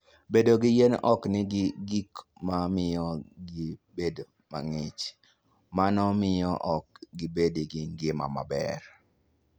Bedo ni yien ok nigi gik ma miyo pi bedo mang'ich, mano miyo ok gibed gi ngima maber.